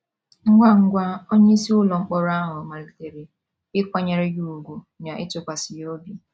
Ngwa ngwa, onyeisi ụlọ mkpọrọ ahụ malitere ịkwanyere ya ùgwù na ịtụkwasị ya obi.